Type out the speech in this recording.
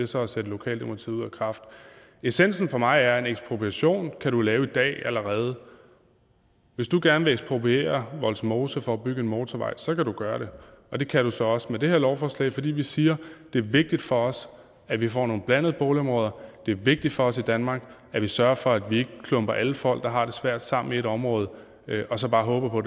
så er at sætte lokaldemokratiet ud af kraft essensen for mig er at en ekspropriation kan du lave i dag allerede hvis du gerne vil ekspropriere vollsmose for at bygge en motorvej så kan du gøre det og det kan du så også med det her lovforslag fordi vi siger at det er vigtigt for os at vi får nogle blandede boligområder det er vigtigt for os i danmark at vi sørger for at vi ikke klumper alle folk der har det svært sammen i et område og så bare håber på